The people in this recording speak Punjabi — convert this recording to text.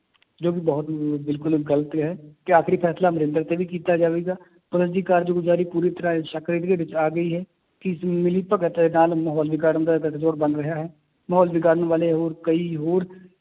ਜੋ ਕਿ ਬਹੁਤ ਬਿਲਕੁਲ ਹੀ ਗ਼ਲਤ ਹੈ, ਤੇ ਆਖਰੀ ਫੈਸਲਾ ਅਮਰਿੰਦਰ ਤੇ ਵੀ ਕੀਤਾ ਜਾਵੇਗਾ ਕਾਰਜਗੁਜ਼ਾਰੀ ਪੂਰੀ ਤਰ੍ਹਾਂ ਸ਼ੱਕ ਦੇ ਘੇਰੇ ਵਿੱਚ ਆ ਗਈ ਹੈ, ਕਿ ਇਸ ਮਿਲੀ ਭਗਤ ਦੇ ਨਾਲ ਮਾਹੌਲ ਵਿਗਾੜਨ ਦਾ ਗਠਜੋੜ ਬਣ ਰਿਹਾ ਹੈ, ਮਾਹੌਲ ਵਿਗਾੜਨ ਵਾਲੇ ਹੋਰ ਕਈ ਹੋਰ